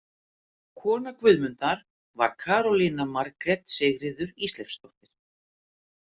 Kona Guðmundar var Karólína Margrét Sigríður Ísleifsdóttir.